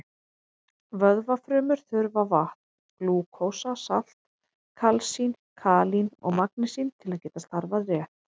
Vöðvafrumur þurfa vatn, glúkósa, salt, kalsín, kalín og magnesín til að geta starfað rétt.